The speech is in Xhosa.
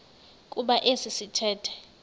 kuba esi sithethe